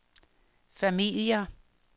familier